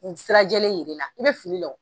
Sirajɛlen yir'e la i bɛ fili la wo.